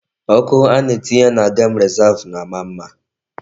Ọkụ a na-etinye na gem rezav na-ama mma.